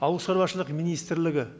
ауыл шаруашылық министрлігі